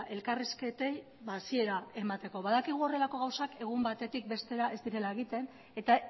elkarrizketei hasiera emateko badakigu horrelako gauzak egun batetik bestera ez direla egiten eta